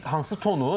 Deyirəm ki, hansı tonu?